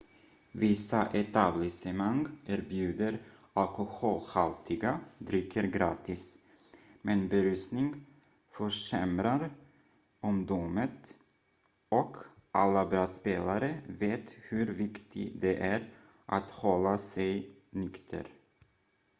vissa etablissemang erbjuder alkoholhaltiga drycker gratis men berusning försämrar omdömet och alla bra spelare vet hur viktigt det är att hålla sig nykter